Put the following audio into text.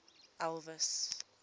elvis